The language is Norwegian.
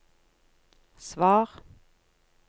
svar